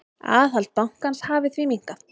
Aðhald bankans hafi því minnkað.